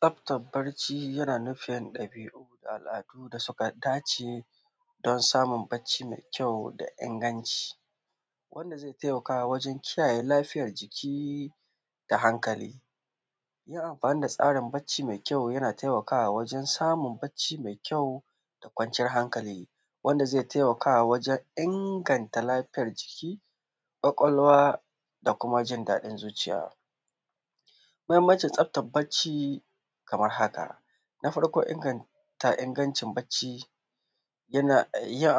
Tsaftan bacci yana da ɗabiu da al’adu da suka dace don samun bacci me kyau da kuma inganci wanda zai taimaka wajen kiyaye lafiyan jiki da hankali, yin anfani da tsarin bacci me tsafta yana taimakawa wajen samun bacci me kyau da kwanciyan hankali wanda zai taimakawa wajen inganta lafiyan jiki, kwakwalwa da kuma jin daɗin zuciya. Muhinmancin tsaftan bacci kaman haka na farko inganta ingancin bacci, yin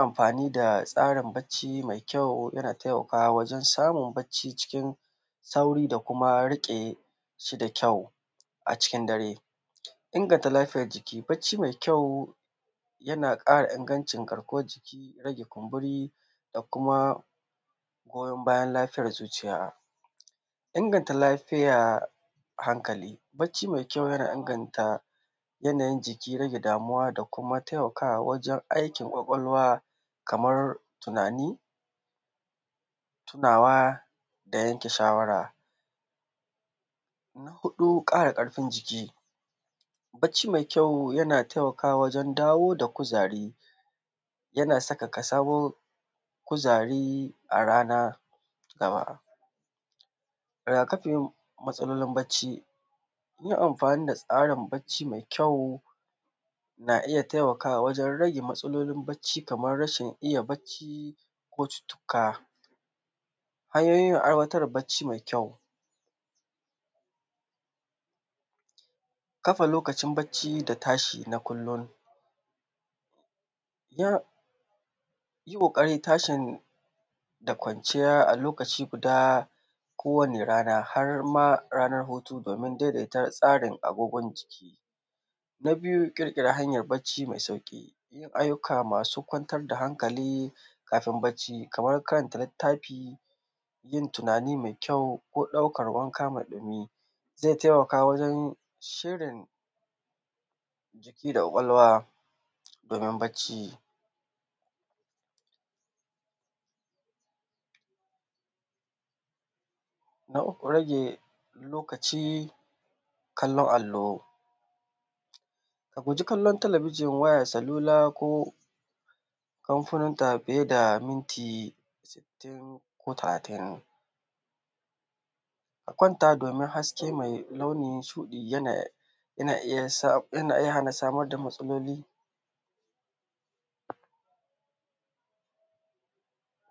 anfani da tsarin bacci me kyawo yana taimakawa wajen samun tsarin bacci me kyau sauri da kuma riƙes hi da kyau a cikin dare, inganta lafiyan jiki bacci me kyau yana ƙara ingancin garkuwan jiki da kuma goyan bayan lafiyan zuciya, inaganya hankali. Bacci me kyau yana inganta yanayin jiki damuwa da kuma taimakawa wajen rage tunani da taimakawa wajen aikin kwakwalwa kamar tunani, tunawa da yanke shawara, na huɗu ƙara ƙarfin jiki bacci me kyau yana taimakawa wajen dawo da kuzari yana saka ka samu kuzari a rana. Matsalolin bacci yi anfani da tsarin bacci me kyau na iya gtaimakawa wajen rage matsalolin bacci kaman rashin iya bacci ko cuccukka hanyoyin aiwatar da bacci me kyau kafa lokacin bacci da tashi yi ƙukari tashi da kwanciya a lokaci guda kowane rana har ma ranan hutu domin daidaita tsarin agogon jiki. Na biyu ƙirƙira hanyan bacci me sauƙi ayyuka masu kwantar da hankali kafin bacci kaman karanta littafi yin tunani me kyau ko ɗaukan wanka zai taimaka wajen shirin jiki da kwakwalwa wurin bacci. Na uku rage lokacin kallon allo ka guji kallon talabijin, wayan salula ko kafin da awa ɗaya da minti talatin, ka kwanta domin haske me launin shuɗi domin yana iya hana samar da matsaloli.